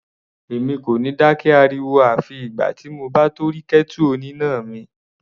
Èmi kò ní dákẹ́ ariwo àfi ìgbà tí mo bá tó rí kẹ́tù oníná mi.